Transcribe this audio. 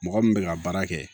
Mɔgɔ min bɛ ka baara kɛ